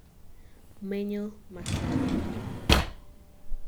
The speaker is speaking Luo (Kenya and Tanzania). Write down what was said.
menyo masani